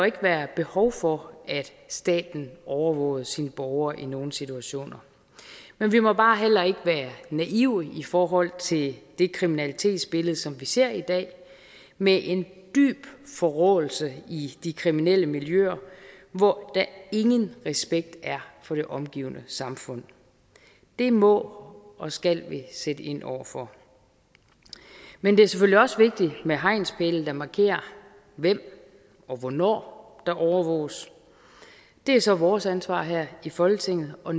ikke være behov for at staten overvågede sine borgere i nogle situationer men vi må bare heller ikke være naive i forhold til det kriminalitetsbillede som vi ser i dag med en dyb forråelse i de kriminelle miljøer hvor der ingen respekt er for det omgivende samfund det må og skal vi sætte ind over for men det er selvfølgelig også vigtigt med hegnspæle der markerer hvem og hvornår der overvåges det er så vores ansvar her i folketinget at